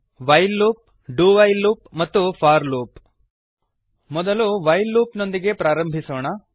while loop do while loop ಮತ್ತು for loop ಮೊದಲು while loop ನೊಂದಿಗೆ ಪ್ರಾರಂಭಿಸೋಣ